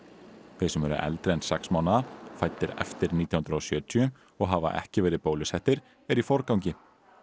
þeir sem eru eldri en sex mánaða fæddir eftir nítján hundruð og sjötíu og hafa ekki verið bólusettir eru í forgangi